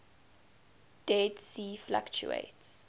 dead sea fluctuates